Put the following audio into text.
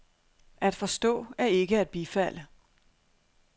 At forstå er ikke at bifalde.